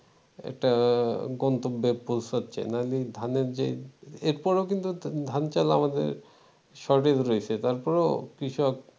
একটা গন্তব্যে পোঁছাচ্ছে নইলে ধানের যে এর পরও কিন্তু ধান-চাল আমাদের shortage রয়েছে তারপরও কৃষক